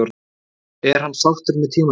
Er hann sáttur með tímabilið?